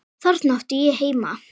Þarna átti ég heima.